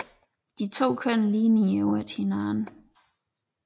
De to køn ligner i øvrigt hinanden